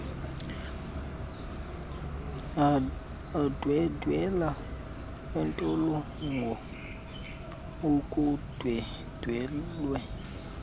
andwendwela iintolongo ukundwendwelwa